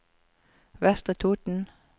Vestre Toten